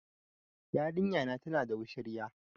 Yarinya na tana da wushirya